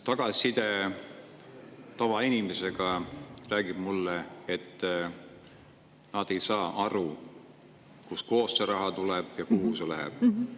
Tagasiside tavainimestelt räägib mulle, et nad ei saa aru, kust kohast see raha tuleb ja kuhu see läheb.